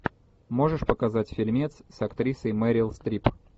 можешь показать фильмец с актрисой мерил стрип